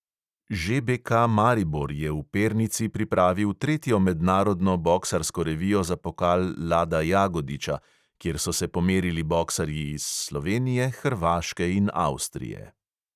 ŽBK maribor je v pernici pripravil tretjo mednarodno boksarsko revijo za pokal lada jagodiča, kjer so se pomerili boksarji iz slovenije, hrvaške in avstrije.